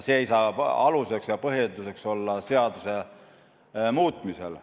See ei saa aluseks ja põhjenduseks olla seaduse muutmisel.